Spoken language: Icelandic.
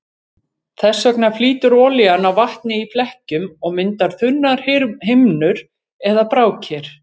Þess vegna flýtur olían á vatni í flekkjum og myndar þunnar himnur eða brákir.